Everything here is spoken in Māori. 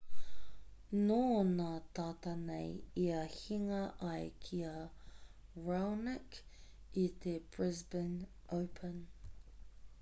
nō nā tata nei ia hinga ai ki a raonic i te brisbane open